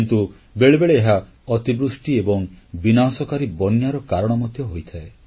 କିନ୍ତୁ ବେଳେବେଳେ ଏହା ଅତିବୃଷ୍ଟି ଏବଂ ବିନାଶକାରୀ ବନ୍ୟାର କାରଣ ମଧ୍ୟ ହୋଇଥାଏ